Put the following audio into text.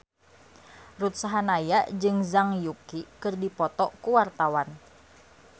Ruth Sahanaya jeung Zhang Yuqi keur dipoto ku wartawan